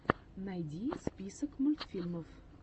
найди список мультфильмов